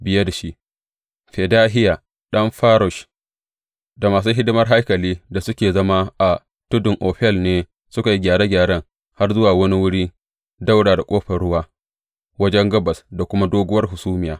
Biye da shi, Fedahiya ɗan Farosh da masu hidimar haikali da suke zama a tudun Ofel ne suka yi gyare gyaren har zuwa wani wuri ɗaura da Ƙofar Ruwa wajen gabas da kuma doguwar hasumiya.